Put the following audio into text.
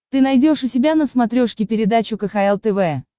ты найдешь у себя на смотрешке передачу кхл тв